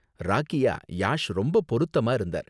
ராக்கியாக யாஷ் ரொம்ப பொருத்தமா இருந்தார்.